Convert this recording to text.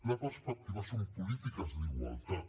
la perspectiva són polítiques d’igualtat